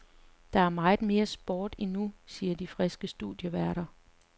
Der er meget mere sport endnu, siger de friske studieværter.